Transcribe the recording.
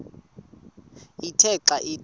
ithe xa ithi